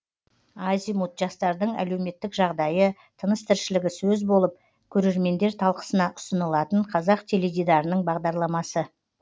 азимут жастардың әлеуметтік жағдайы тыныс тіршілігі сөз болып көрермендер талқысына ұсынылатын қазақ теледидарының бағдарламасы